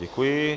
Děkuji.